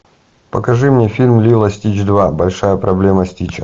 покажи мне фильм лило и стич два большая проблема стича